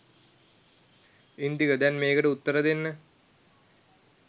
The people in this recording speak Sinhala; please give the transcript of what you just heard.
ඉන්දික දැන් මේකට උත්තර දෙන්න